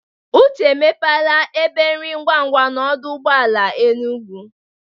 Uche emepela ebe nri ngwangwa n'ọdụ ụgbọ ala Enugwu.